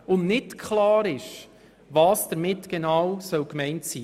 Es ist nicht klar, was damit gemeint sein soll.